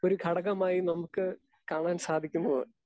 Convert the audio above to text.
Speaker 2 ഒരു ഘടകമായി നമ്മക്ക് കാണാൻ സാധിക്കുന്നത്.